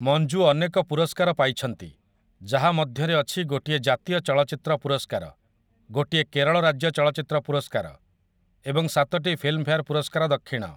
ମଞ୍ଜୁ ଅନେକ ପୁରସ୍କାର ପାଇଛନ୍ତି, ଯାହା ମଧ୍ୟରେ ଅଛି ଗୋଟିଏ ଜାତୀୟ ଚଳଚ୍ଚିତ୍ର ପୁରସ୍କାର, ଗୋଟିଏ କେରଳ ରାଜ୍ୟ ଚଳଚ୍ଚିତ୍ର ପୁରସ୍କାର ଏବଂ ସାତଟି ଫିଲ୍ମଫେୟାର ପୁରସ୍କାର ଦକ୍ଷିଣ ।